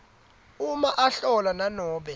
uma ahlola nanobe